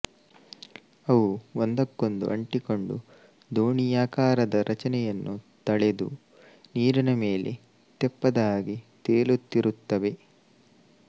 ಅವು ಒಂದಕ್ಕೊಂದು ಅಂಟಿಕೊಂಡು ದೋಣಿಯಾಕಾರದ ರಚನೆಯನ್ನು ತಳೆದು ನೀರಿನ ಮೇಲೆ ತೆಪ್ಪದ ಹಾಗೆ ತೇಲುತ್ತಿರುತ್ತವೆ